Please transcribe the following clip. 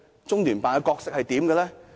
中聯辦的角色是甚麼？